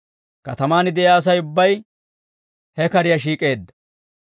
Katamaan de'iyaa Asay ubbay he kariyaa shiik'eedda.